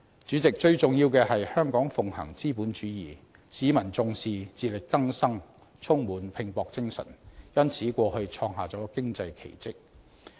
主席，最重要的是，香港奉行資本主義，市民重視自力更生，充滿拼搏精神，因此過去創下了經濟奇蹟。